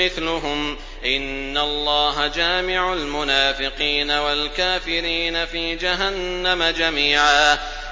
مِّثْلُهُمْ ۗ إِنَّ اللَّهَ جَامِعُ الْمُنَافِقِينَ وَالْكَافِرِينَ فِي جَهَنَّمَ جَمِيعًا